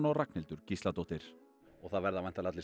Ragnhildur Gísladóttir og það verða væntanlega allir